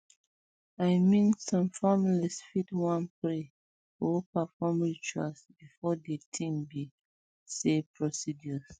i mean some families fit wan um pray or perform rituals before de tin be um say procedures